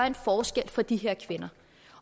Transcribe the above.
en forskel for de her kvinder